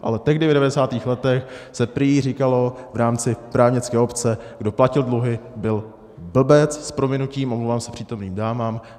Ale tehdy v 90. letech se prý říkalo v rámci právnické obce: Kdo platil dluhy, byl blbec - s prominutím, omlouvám se přítomným dámám.